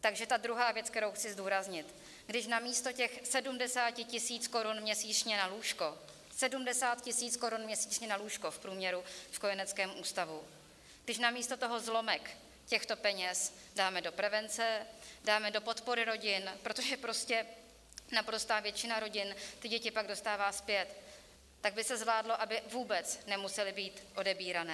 Takže ta druhá věc, kterou chci zdůraznit: Když namísto těch 70 tisíc korun měsíčně na lůžko, 70 tisíc korun měsíčně na lůžko v průměru v kojeneckém ústavu, když namísto toho zlomek těchto peněz dáme do prevence, dáme do podpory rodin - protože prostě naprostá většina rodin ty děti pak dostává zpět - tak by se zvládlo, aby vůbec nemusely být odebírané.